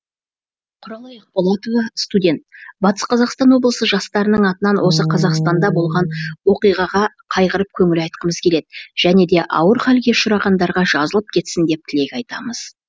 құралай ақболатова студент батыс қазақстан облысы жастарының атынан осы қазақстанда болған оқиғаға қайғырып көңіл айтқымыз келеді және де ауыр халге ұшырағандарға жазылып кетсін деп тілек айтамыз